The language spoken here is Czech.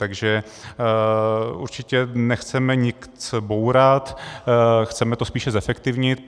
Takže určitě nechceme nic bourat, chceme to spíše zefektivnit.